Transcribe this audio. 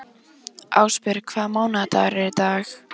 Ásbjörg, hvaða mánaðardagur er í dag?